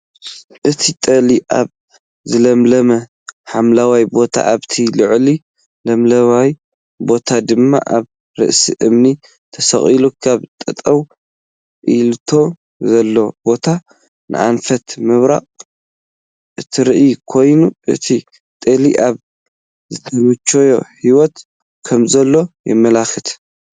እታ ጤል ኣብ ዝለምለመ ሓምለዋይ ቦታ ኣብቲ ልዕሊ ሓምለዋይ ቦታ ድማ ኣብ ርእሲ እምኒ ተሰቂላ ካብ ጠጠው ኢላቶ ዘላ ቦታ ንኣንፈት ምብራቅ እትርኢ ኮይና እታ ጤል ኣብ ዝተመቸወ ሂወት ከምዘላ የመላክት፡፡